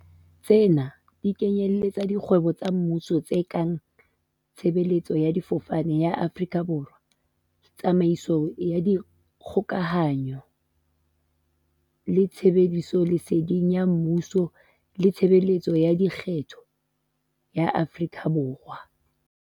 Tsena di kenyeletsa dikgwebo tsa mmuso tse kang Tshe beletso ya Difofane ya Afrika Borwa, Tsamaiso ya Dikgoka hanyo le Tlhahisoleseding ya Mmuso le Tshebeletso ya Lekgetho ya Afrika Borwa.